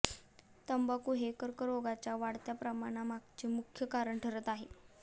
तंबाखू हे कर्करोगाच्या वाढत्या प्रमाणामागचे मुख्य कारण ठरत आहे